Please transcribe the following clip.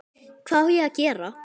Hvað á ég að gera?